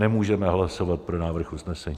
Nemůžeme hlasovat pro návrh usnesení.